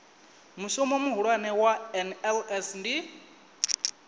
mushumo muhulwane wa nls ndi